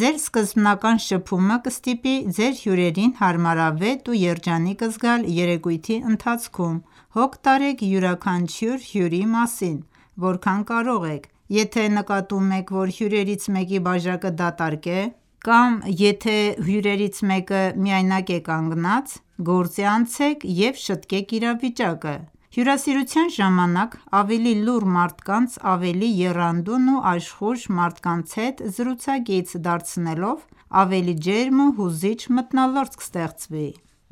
Ձեր սկզբնական շփումը կստիպի ձեր հյուրերին հարմարավետ և երջանիկ զգալ երեկույթի ընթացքում: Հոգ տարեք յուրաքանչյուր հյուրի մասին, որքան կարող եք: Եթե նկատում եք, որ հյուրերից մեկի բաժակը դատարկ է, կամ եթե հյուրերից մեկը միայնակ է կանգնած, գործի անցեք և շտկեք իրավիճակը։ Հյուրասիրության ժամանակ ավելի լուռ մարդկանց ավելի եռանդուն ու աշխույժ մարդկանց հետ զրուցակից դարձնելով ավելի ջերմ ու հուզիչ մթնոլորտ կստեղծվի: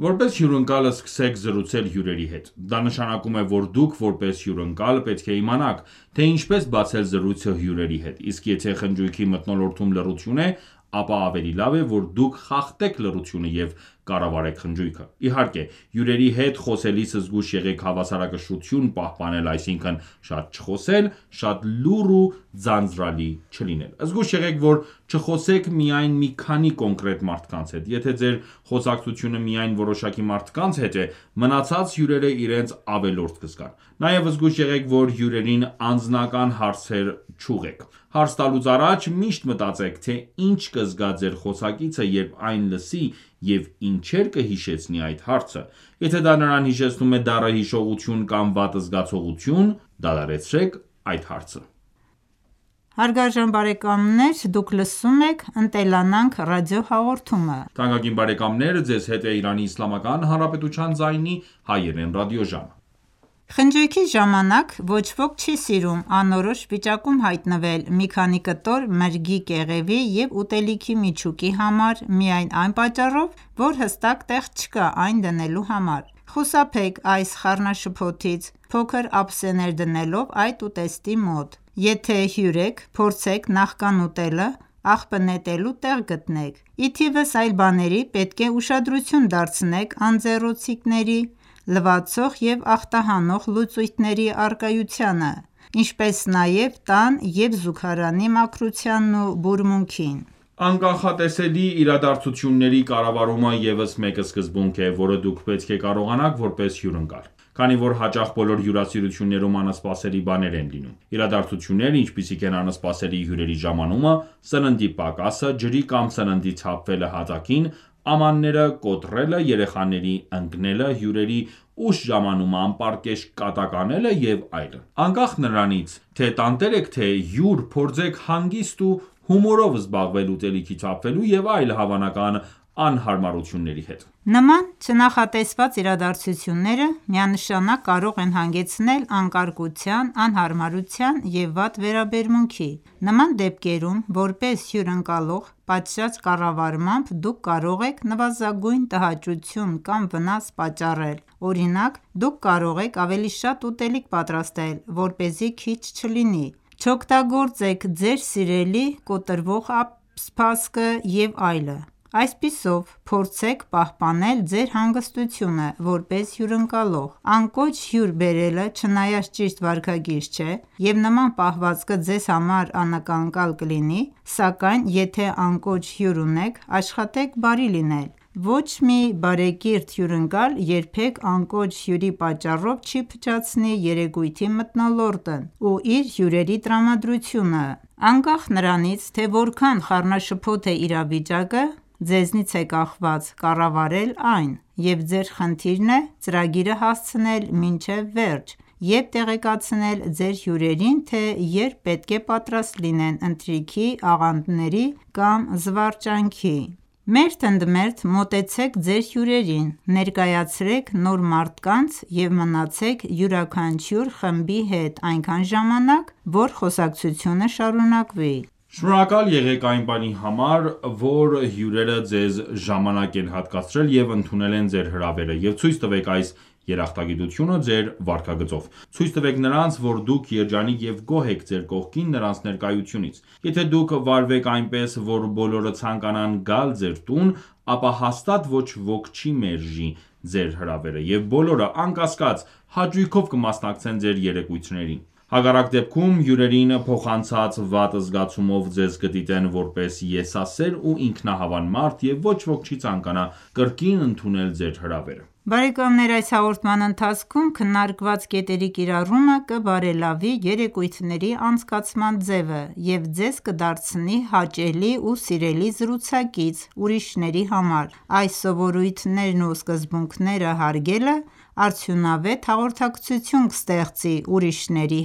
Որպես հյուրընկալ սկսեք զրուցել հյուրերի հետ: Դա նշանակում է, որ դուք՝ որպես հյքւրընկալ, պետք է իմանաք, թե ինչպես բացել զրույցը հյուրերի հետ, իսկ եթե խնջույքի մթնոլորտում լռություն է, ապա ավելի լավ է, որ դուք խախտեք լռությունը և կառավարեք խնջույքը։ Իհարկե, հյուրերի հետ խոսելիս զգույշ եղեք հավասարակշռություն պահպանել, այսինքն՝ շատ չխոսել, շատ լուռ ու ձանձրալի չլինել։ Զգույշ եղեք, որ չխոսեք միայն մի քանի կոնկրետ մարդկանց հետ։ Եթե ձեր խոսակցությունը միայն որոշակի մարդկանց հետ է, մնացած հյուրերը իրենց ավելորդ կզգան։ Նաև զգույշ եղեք, որ հյուրերին անձնական հարցեր չուղղեք: Հարց տալուց առաջ միշտ մտածեք, թե ինչ կզգա ձեր խոսակիցը, երբ այն լսի, և ի՞նչեր կհիշեցնի այդ հարցը: Եթե դա նրան հիշեցնում է դառը հիշողություն կամ վատ զգացողություն, դադարեցրեք այդ հարցը։ Խնջույքի ժամանակ ոչ ոք չի սիրում անորոշ վիճակում հայտնվել մի քանի կտոր մրգի կեղևի և ուտելիքի միջուկի համար միայն այն պատճառով, որ հստակ տեղ չկա այն դնելու համար: Խուսափեք այս խառնաշփոթից՝ փոքր ափսեներ դնելով այդ ուտեստի մոտ: Եթե հյուր եք, փորձեք նախքան ուտելը, աղբը նետելու տեղ գտնեք: Ի թիվս այլ բաների պետք է ուշադրություն դարձնեք անձեռոցիկների, լվացող և ախտահանող լուծույթների առկայությանը, ինչպես նաև տան և զուգարանի մաքրությանն ու բուրմունքին: Անկանխատեսելի իրադարձությունների կառավարումը ևս մեկ սկզբունք է, որը դուք պետք է կարողանաք որպես հյուրընկալ: Քանի որ հաճախ բոլոր հյուրասիրություններում անսպասելի բաներ են լինում։ Իրադարձություններ, ինչպիսիք են՝ անսպասելի հյուրերի ժամանումը, սննդի պակասը, ջրի կամ սննդի թափվելը հատակին, ամանները կոտրելը, երեխաների ընկնելը, հյուրերի ուշ ժամանումը, անպարկեշտ կատակ անելը և այլն։ Անկախ նրանից, թե տանտեր եք, թե հյուր, փորձեք հանգիստ ու հումորով զբաղվել ուտելիքի թափվելու և այլ հավանական անհարմարությունների հետ։ Նման չնախատեսված իրադարձությունները միանշանակ կարող են հանգեցնել անկարգության, անհարմարության և վատ վերաբերմունքի։ Նման դեպքերում, որպես հյուրընկալող, պատշաճ կառավարմամբ դուք կարող եք նվազագույն տհաճություն կամ վնաս պատճառել: Օրինակ, դուք կարող եք ավելի շատ ուտելիք պատրաստել, որպեսզի քիչ չլինի, չօգտագործեք ձեր սիրելի կոտրվող սպասքը, և այլն: Այսպիսով, փորձեք պահպանել ձեր հանգստությունը որպես հյուրընկալող: Անկոչ հյուր բերելը չնայած ճիշտ վարքագիծ չէ, և նման պահվածքը ձեզ համար անակնկալ կլինի, սակայն, եթե անկոչ հյուր ունեք, աշխատեք բարի լինել։ Ոչ մի բարեկիրթ հյուրընկալ երբեք անկոչ հյուրի պատճառով չի փչացնի երեկույթի մթնոլորտն ու իր հյուրերի տրամադրությունը: Անկախ նրանից, թե որքան խառնաշփոթ է իրավիճակը, ձեզնից է կախված՝ կառավարել այն, և ձեր խնդիրն է՝ ծրագիրը հասցնել մինչև վերջ և տեղեկացնել ձեր հյուրերին, թե երբ պետք է պատրաստ լինեն ընթրիքի, աղանդերի կամ զվարճանքի: Մերթ ընդ մերթ մոտեցեք ձեր հյուրերին: Ներկայացրեք նոր մարդկանց և մնացեք յուրաքանչյուր խմբի հետ այնքան ժամանակ, որ խոսակցությունը շարունակվի: Շնորհակալ եղեք այն բանի համար, որ հյուրերը ձեզ ժամանակ են հատկացրել և ընդունել են ձեր հրավերը, և ցույց տվեք այս երախտագիտությունը ձեր վարքագծով։ Ցույց տվեք նրանց, որ դուք երջանիկ և գոհ եք ձեր կողքին նրանց ներկայությունից։ Եթե դուք վարվեք այնպես, որ բոլորը ցանկանան գալ ձեր տուն, ապա հաստատ ոչ ոք չի մերժի ձեր հրավերը, և բոլորը, անկասկած, հաճույքով կմասնակցեն ձեր երեկույթներին: Հակառակ դեպքում հյուրերին փոխանցած վատ զգացումով ձեզ կդիտեն որպես եսասեր ու ինքնահավան մարդ, և ոչ ոք չի ցանկանա կրկին ընդունել ձեր հրավերը։ Այս հաղորդման ընթացքում քննարկված կետերի կիրառումը կբարելավի երեկույթների անցկացման ձևը և ձեզ կդարձնի հաճելի ու սիրելի զրուցակից ուրիշների համար: Այս սովորույթներն ու սկզբունքները հարգելը արդյունավետ հաղորդակցություն կստեղծի ուրիշների